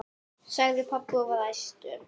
sagði pabbi og var æstur.